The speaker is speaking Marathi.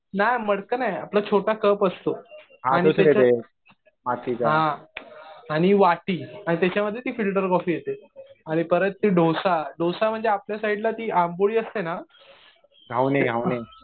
नाही मडकं नाही. आपला छोटा कप असतो. हा. आणि वाटी आणि त्याच्यामध्ये ती फिल्टर कॉफी येते. आणि परत ते डोसा. डोसा म्हणजे आपल्या साईडला जी आंबोळी असते ना